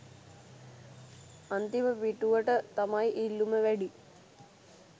අන්තිම පිටුවට තමයි ඉල්ලුම වැඩි